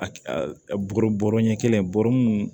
A bɔrɔ bɔrɔ ɲɛ kelen bɔrɛ